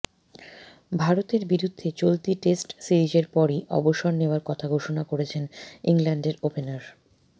ভারতের বিরুদ্ধে চলতি টেস্ট সিরিজের পরই অবসর নেওয়ার কথা ঘোষণা করেছেন ইংল্যান্ডের ওপেনার